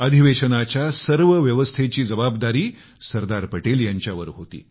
अधिवेशनाच्या सर्व व्यवस्थेची जबाबदारी सरदार पटेल यांच्यावर होती